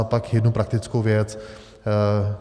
A pak jednu praktickou věc.